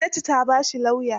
Gwamnati ta ba shi lauya?